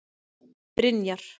Brynjar